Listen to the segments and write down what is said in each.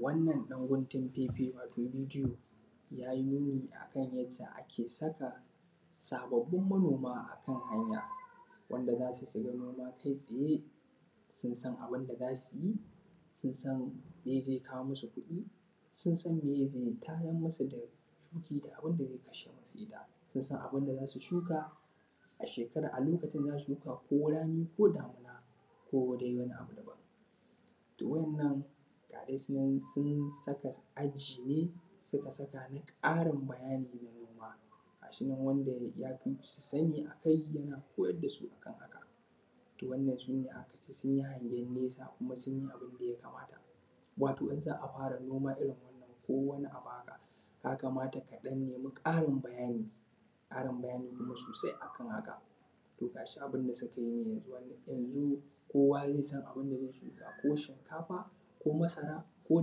Wannan ɗan guntun fefe wato bidiyo ya yi nuni akan yacca ake saka sababbin manoma a kan hanya wanda za su tsiri noma kai tsaye, sun san abun da za su yi, sun san meye ze kawo musu kuɗi, sun san meye ze tayar musu da shukoki da abun da ze kashe musu ita, sun san abun da za su shuka a shekara a lokacin za su shuka ko rani ko damuna ko dai wani abu daban. To, wannan ga dai su nan sun saka aji ne suka saka ni ƙarin bayani na noma gashi nan wanda ya fisu sani akai yana koyar da su ne akan haka, to wannan sune akace sun yi hangen nesa kuma sun yi abun da ya kamata, wato in za a fara noma irin wannan ko wani abu haka ya kamata ka ɗan nemi ƙarin bayani, ƙarin bayani kuma sosai akan haka to gashi da suka yi yanzu kowa ze san abun da ze shuka ko shinkafa ko masara ko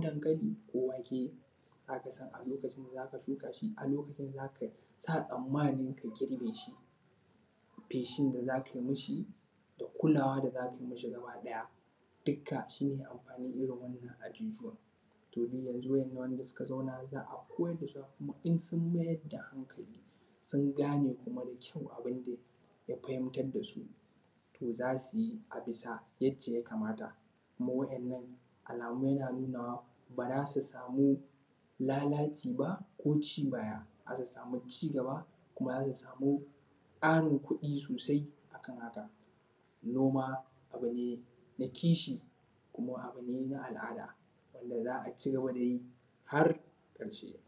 dankali ko wake za ka san a lokacin da za ka a lokacin za ka shuka shi a lokacin za ka sa tsammanin ka girbe shi, feshin da za kai mi shi da kulawa da za kai mi shi gabaɗaya duka shi ne amfanin irin wannan azuzuwan, domin yanzu waƴannan da suka zauna za a koyar da su in sun mayar da hankali sun gane kuma da kyau abun da ya fahimtar da su, to za su yi a bisa yacca ya kamata kuma waƴannan alamu yana nunawa ba za su samu lalaci ba ko ci baya zasu samu, cigaba kuma zasu samu ƙarin kuɗi sosai akan haka. Noma abu ne na kishi kuma abu ne na al’ada wanda za a cigaba da yi har ƙarshe.